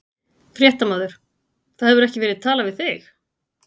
Fréttamaður: Það hefur ekki verið talað við þig?